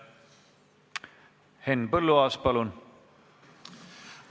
Henn Põlluaas, palun!